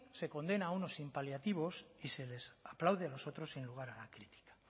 se condena a uno sin paliativos y se les aplaude a los otros sin lugar a la crítica